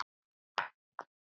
Hvað er meiósa og mítósa?